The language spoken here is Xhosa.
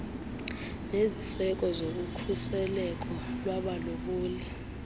neziseko zokukhuseleko lwabalobi